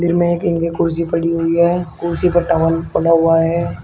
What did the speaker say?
जिनमे एक इनकी कुर्सी पड़ी हुई है कुर्सी पर टॉवल पड़ा हुआ है।